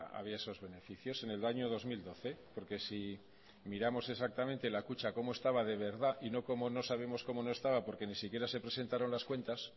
había esos beneficios en el año dos mil doce porque si miramos exactamente la kutxa como estaba de verdad y no cómo no sabemos como no estaba porque ni siquiera se presentaron las cuentas